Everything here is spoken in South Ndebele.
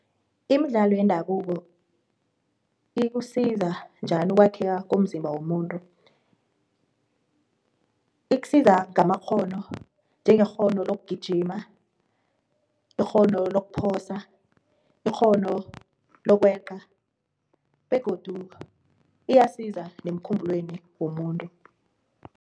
Imidlalo yendabuko ikusiza njani ukwakhiwa komzimba womuntu? Ikusiza ngamakghono njengekghono lokugijima, ikghono lokhuphosa, ikghono lokweqa, begodu iyasiza womuntu.